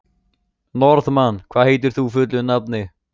Norðmann, hvað heitir þú fullu nafni?